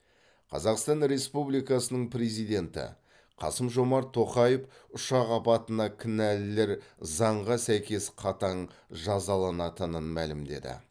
қазақстан республикасының президенті қасым жомарт тоқаев ұшақ апатына кінәлілер заңға сәйкес қатаң жазаланатынын мәлімдеді